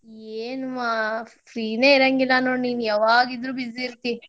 ಎನ್ವಾ free ನೇ ಇರಂಗಿಲ್ಲಾ ನೋಡ್ ನೀನ್ ಯಾವಾಗಿದ್ರೂ busy ಇರ್ತಿ.